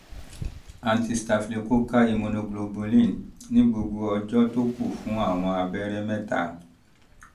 antistaphylococcal immunoglobulin ní gbogbo ọjọ́ tó kù fún àwọn abẹ́rẹ́ mẹ́ta